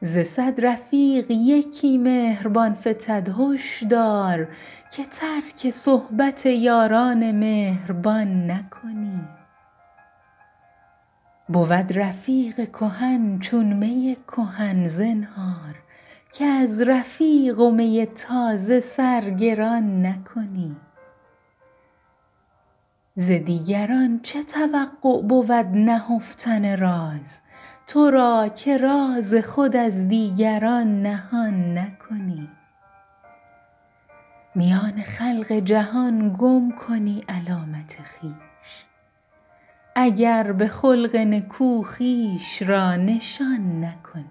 ز صد رفیق یکی مهربان فتد هش دار که ترک صحبت یاران مهربان نکنی بود رفیق کهن چون می کهن زنهار که از رفیق و می تازه سرگران نکنی ز دیگران چه توقع بود نهفتن راز ترا که راز خود از دیگران نهان نکنی میان خلق جهان گم کنی علامت خویش اگر به خلق نکو خویش را نشان نکنی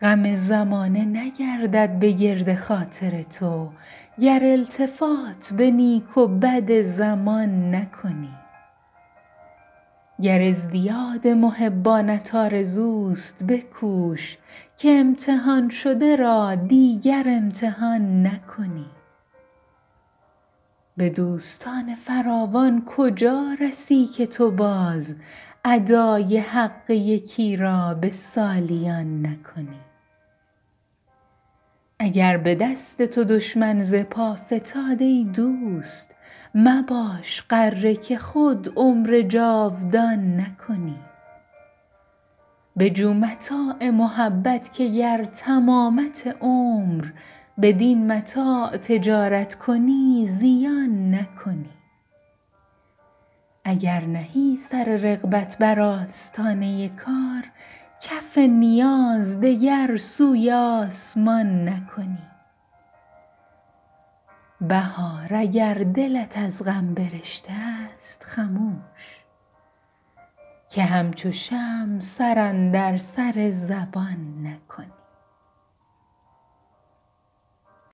غم زمانه نگردد به گرد خاطر تو گر التفات به نیک و بد زمان نکنی گر ازدیاد محبانت آرزوست بکوش که امتحان شده را دیگر امتحان نکنی به دوستان فراوان کجا رسی که تو باز ادای حق یکی را به سالیان نکنی اگر به دست تو دشمن زپا فتاد ای دوست مباش غره که خود عمر جاودان نکنی بجو متاع محبت که گر تمامت عمر بدین متاع تجارت کنی زیان نکنی اگر نهی سر رغبت بر آستانه کار کف نیاز دگر سوی آسمان نکنی بهار اگر دلت از غم برشته است خموش که همچو شمع سر اندر سر زبان نکنی